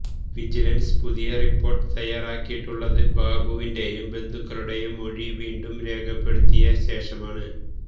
vigilance പുതിയ report തയ്യാറാക്കിയിട്ടുള്ളത് ബാബുവിന്റെയും ബന്ധുക്കളുടെയും മൊഴി വീണ്ടും രേഖപ്പെടുത്തിയ ശേഷമാണ്